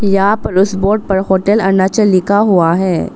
यहां पर उस बोर्ड पर होटल अरूणाचल लिखा हुआ है।